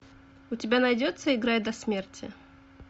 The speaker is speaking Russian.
у тебя найдется играй до смерти